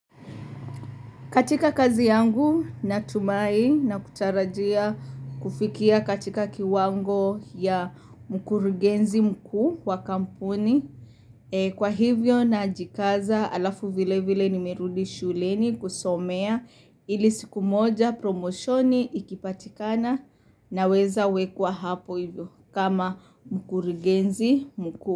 Katika kazi yangu natumai na kutarajia kufikia katika kiwango ya mkurugenzi mkuu wa kampuni. Kwa hivyo na jikaza alafu vile vile nimerudi shuleni kusomea ili siku moja promoshoni ikipatikana naweza wekwa hapo hivyo kama mkurigenzi mkuu.